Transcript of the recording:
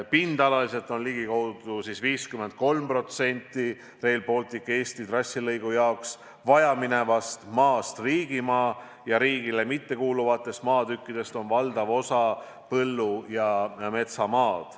Pindalalt on ligikaudu 53% Rail Balticu Eesti trassi jaoks vajaminevast maast riigimaa ning riigile mittekuuluvatest maatükkidest on valdav osa põllu- ja metsamaa.